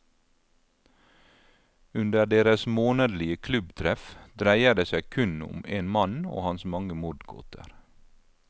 Under deres månedlige klubbtreff dreier det seg kun om en mann og hans mange mordgåter.